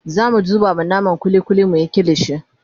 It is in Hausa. zamu zuba ma naman kulli kulli muyi kilishi